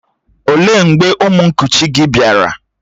Ó lee mgbe ụmụ nkuchi gị bịara?